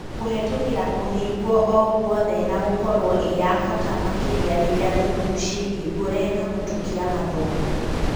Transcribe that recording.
Kũhetũkĩra kũhingwo o-guothe na gũkorwo ĩyabata makĩria rĩrĩa thukuru cĩĩhingũre na gũtukia mathomo.